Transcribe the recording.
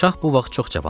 Şah bu vaxt çox cavan idi.